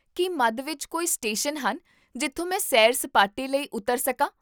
ਕੀ ਮੱਧ ਵਿੱਚ ਕੋਈ ਸਟੇਸ਼ਨ ਹਨ ਜਿੱਥੋਂ ਮੈਂ ਸੈਰ ਸਪਾਟੇ ਲਈ ਉਤਰ ਸਕਾਂ?